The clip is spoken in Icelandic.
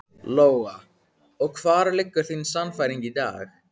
Lóa: Og hvar liggur þín sannfæring í dag?